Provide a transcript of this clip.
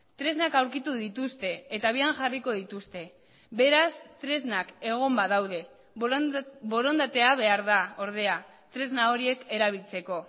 tresnak aurkitu dituzte eta abian jarriko dituzte beraz tresnak egon badaude borondatea behar da ordea tresna horiek erabiltzeko